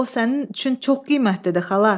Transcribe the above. Axı o sənin üçün çox qiymətlidir, xala.